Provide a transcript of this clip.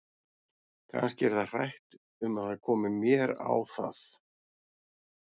Kannski er það hrætt um að það komi mér á það!